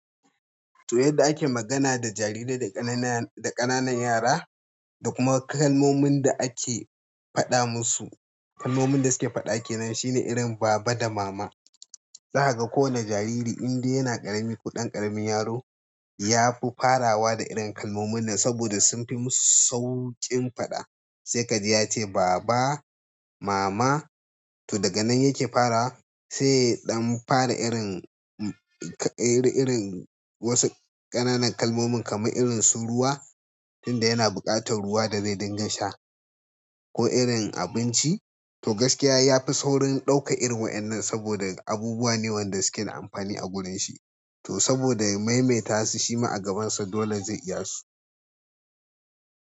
To yadda ake magana da jarirai da ƙanana, da ƙananan yara da kuma kalmomin da ake faɗa musu. Kalmomin da suke faɗa ke nan shine irin baba da mama. Zaka ga kowane jariri inde yana ƙarami kuɗan ƙaramin yaro, ya fi farawa da irin kalmomin nan saboda sun fi musu sauƙin faɗa. Sai ka ji ya ce baba, mama. To daga nan yake fara, sai ɗan fara irin, irin, wasu ƙananan kalmomin kamar irin su ruwa tunda yana buƙatar ruwa da zai dinga sha ko irin abinci. To gaskiya ya fi saurin ɗauka irin wa'inan saboda abubuwa ne wanda suke amfani a gurin shi. To saboda ya maimaita su shi ma a gabansa dole zai iya su.